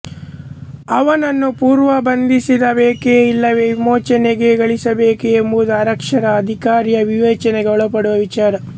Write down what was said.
ಅವನನ್ನು ಪುನರ್ಬಂಧಿಸಬೇಕೇ ಇಲ್ಲವೇ ವಿಮೋಚನೆಗೊಳಿಸಬೇಕೇ ಎಂಬುದು ಆರಕ್ಷಕ ಅಧಿಕಾರಿಯ ವಿವೇಚನೆಗೆ ಒಳಪಡುವ ವಿಚಾರ